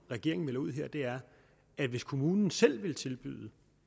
regeringen melder ud her er at hvis kommunen selv vil tilbyde